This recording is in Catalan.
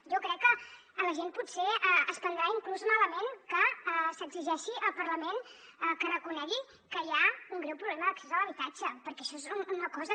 jo crec que la gent potser es prendrà inclús malament que s’exigeixi al parlament que reconegui que hi ha un greu problema d’accés a l’habitatge perquè això és una cosa